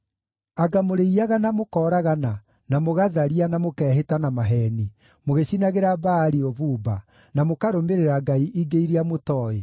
“ ‘Anga mũrĩiyaga na mũkooragana, na mũgatharia, na mũkehĩta na maheeni, mũgĩcinagĩra Baali ũbumba, na mũkarũmĩrĩra ngai ingĩ iria mũtooĩ,